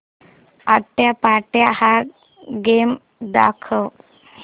आट्यापाट्या हा गेम दाखव